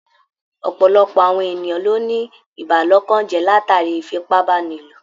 Ọ̀pọ̀lọpọ̀ àwọn ènìyàn ló ní ìbàlọ́kànjẹ́ látàrí ìfipábánilò.